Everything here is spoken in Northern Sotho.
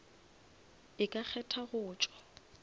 e ka kgetha go tšwa